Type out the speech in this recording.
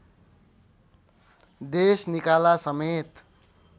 देश निकाला समेत